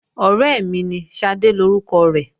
Ọ̀rẹ́ mi ní, Ṣadé lórúkọ rẹ̀